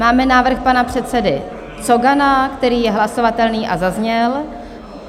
Máme návrh pana předsedy Cogana, který je hlasovatelný a zazněl.